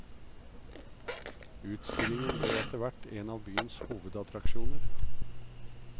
Utstillingen ble etterhvert en av byens hovedattraksjoner.